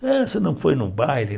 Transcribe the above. Ah, você não foi no baile?